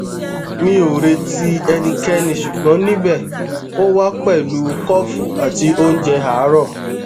mi o reti ẹnikẹni ṣugbọn nibẹ o wa pẹlu kọfu ati ounjẹ aarọ